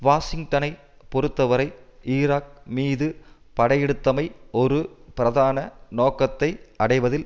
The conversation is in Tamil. வாஷிங்டனை பொறுத்தவரை ஈராக் மீது படையெடுத்தமை ஒரு பிரதான நோக்கத்தை அடைவதில்